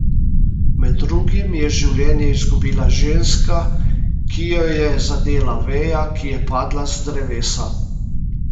Med drugim je življenje izgubila ženska, ki jo je zadela veja, ki je padla z drevesa.